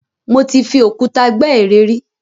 Mo ti fi òkúta gbẹ́ ère rí.